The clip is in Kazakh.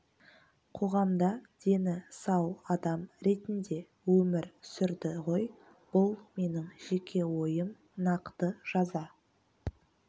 қоғамда дені сау адам ретінде өмір сүрді ғой бұл менің жеке ойым нақты жаза